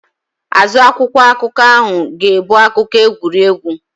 Azụ akwụkwọ akụkọ ahụ ga-ebu akụkọ egwuregwu.